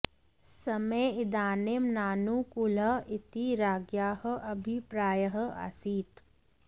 समयः इदानीं नानु कूलः इति राज्ञ्याः अभिप्रायः आसीत्